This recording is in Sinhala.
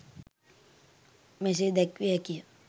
මෙසේ දැක්විය හැකි ය.